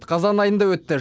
қазан айында өтті